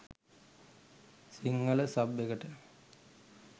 Sinhala sub එකට.